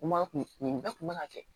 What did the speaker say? N ma kun nin bɛɛ kun man ka kɛ